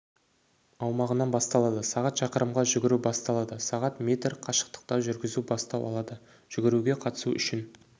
аумағынан басталады сағат шақырымға жүгіру басталады сағат метр қашықтыққа жүргізу бастау алады жүгіруге қатысу үшін